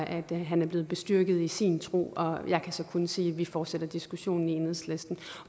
at han er blevet bestyrket i sin tro og jeg kan så kun sige at vi fortsætter diskussionen i enhedslisten